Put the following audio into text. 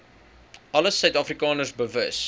alle suidafrikaners bewus